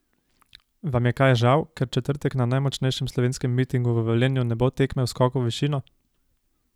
Vam je kaj žal, ker v četrtek na najmočnejšem slovenskem mitingu v Velenju ne bo tekme v skoku v višino?